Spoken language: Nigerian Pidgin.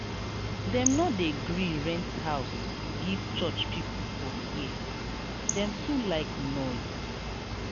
dem no dey gree rent house give church pipu for here dem too like noise.